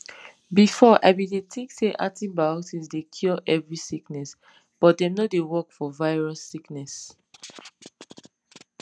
before i bin dey think say antibiotics dey cure every sickness but dem no dey work for virus sickness